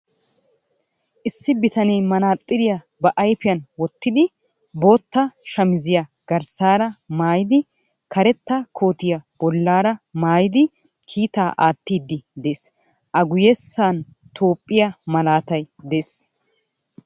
Issi bitanee manaaxxiriya ba ayifiyan wottidi bootta shamiziya garssaara mayyidi karetta kootiya bollaara mayyidi kiitaa aattiiddi de'ees. A guyyessan Toophphiya malaatay de'ees.